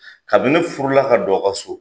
Kabi ne furu la ka don a ka so